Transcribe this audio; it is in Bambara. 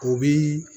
O bi